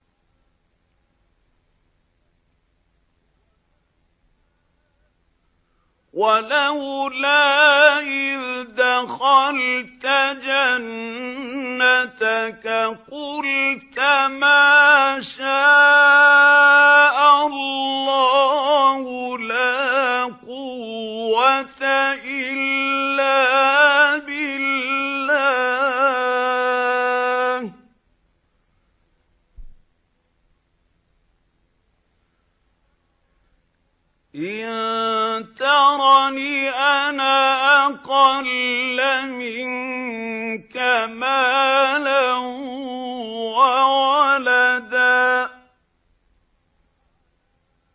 وَلَوْلَا إِذْ دَخَلْتَ جَنَّتَكَ قُلْتَ مَا شَاءَ اللَّهُ لَا قُوَّةَ إِلَّا بِاللَّهِ ۚ إِن تَرَنِ أَنَا أَقَلَّ مِنكَ مَالًا وَوَلَدًا